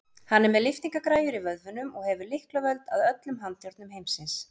Hann er með lyftingagræjur í vöðvunum og hefur lyklavöld að öllum handjárnum heimsins.